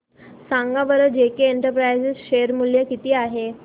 सांगा बरं JK enterprises share मूल्य किती आहे